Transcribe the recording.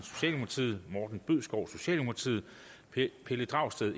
morten bødskov pelle dragsted